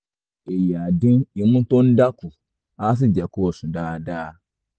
èyí á dín imú tó ń dà kù á sì jẹ́ kó sùn dáadáa